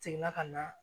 Seginna ka na